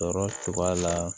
Sɔrɔ cogoya la